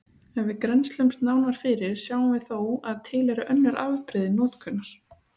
Ef við grennslumst nánar fyrir sjáum við þó að til eru önnur afbrigði notkunar.